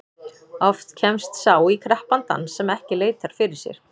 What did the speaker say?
Oft kemst sá í krappan dans sem ekki leitar fyrir sér.